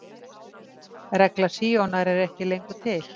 Regla Síonar er ekki lengur til.